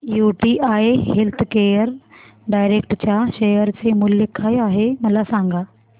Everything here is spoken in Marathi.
यूटीआय हेल्थकेअर डायरेक्ट च्या शेअर चे मूल्य काय आहे मला सांगा